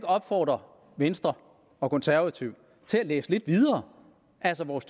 opfordre venstre og konservative til at læse lidt videre altså vores